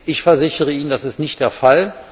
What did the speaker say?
Ich versichere Ihnen Das ist nicht der Fall.